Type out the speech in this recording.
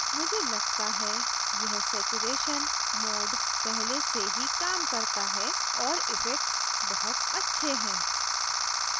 मुझे लगता है यह saturation mode पहले से ही काम करता है और effects बहुत अच्छे हैं